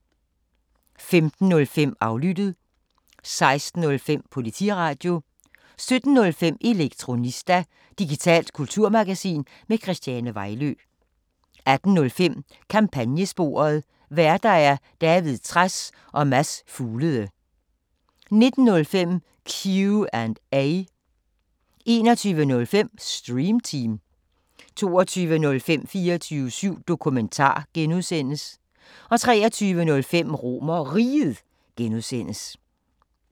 15:05: Aflyttet 16:05: Politiradio 17:05: Elektronista – digitalt kulturmagasin med Christiane Vejlø 18:05: Kampagnesporet: Værter: David Trads og Mads Fuglede 19:05: Q&A 21:05: Stream Team 22:05: 24syv Dokumentar (G) 23:05: RomerRiget (G)